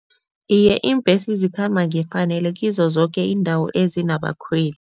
Iye, iimbhesi zikhamba ngefanelo kizo zoke iindawo ezinabakhweli.